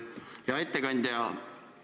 Hea ettekandja!